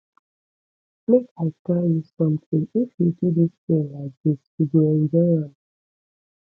make i tell you something if you do dis thing like dis you go enjoy am